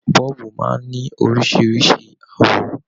Bọ́ọ̀bù máa ń ní oríṣìíríṣìí àwọ̀